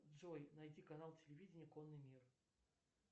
джой найди канал телевидения конный мир